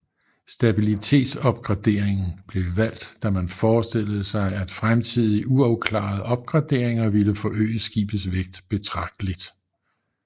Stabilitetsopgraderingen blev valgt da man forestillede sig at fremtidige uafklarede opgraderinger ville forøge skibets vægt betragteligt